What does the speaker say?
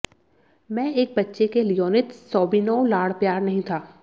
मैं एक बच्चे के लियोनिद सोबिनोव लाड़ प्यार नहीं था